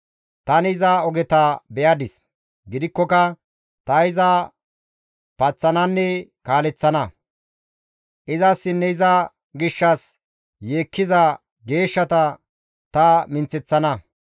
Tani iza ogeta be7adis; gidikkoka ta iza paththananne kaaleththana; izassinne iza gishshas yeekkiza geeshshata ta minththeththana.